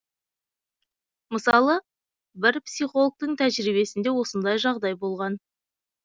мысалы бір психологтың тәжірибесінде осындай жағдай болған